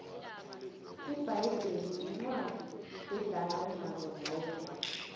ibhayibheli incwadi edala kunazo zonke